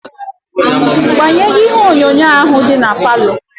Gbanwo ihe onyonyo ahu di na parlour.